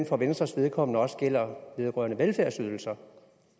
for venstres vedkommende også gælder vedrørende velfærdsydelser